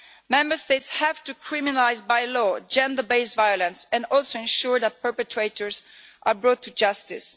Member States have to criminalise by law gender based violence and also ensure that perpetrators are brought to justice.